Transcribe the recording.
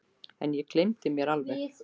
En nú gleymdi ég mér alveg.